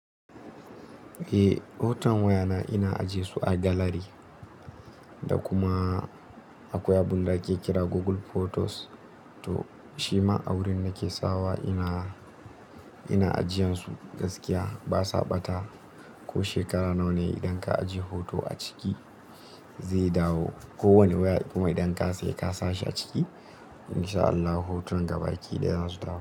Eh hotonan wayana ina ajesu a gallary. Da kuma akwai abun da ake kira Google Photos to shima a wurin nake sawa ina, ina ajiyansu gaskiya basa ɓata. Ko shekara nawa ne idan ka ajiye hoto a ciki zai dawo. Ko wani waya kuma idan ka saye ka sa shi a ciki insha Allahu hotunan gabaki da zasu dawo.